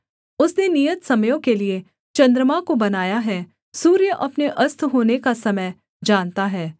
उसने नियत समयों के लिये चन्द्रमा को बनाया है सूर्य अपने अस्त होने का समय जानता है